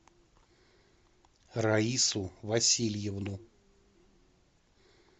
раису васильевну